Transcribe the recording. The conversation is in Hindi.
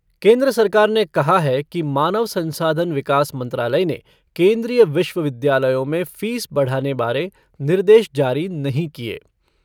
केन्द्र सरकार ने कहा है कि मानव संसाधन विकास मंत्रालय ने केन्द्रीय विश्वविद्यालयों में फीस बढ़ाने बारे निर्देश जारी नहीं किये।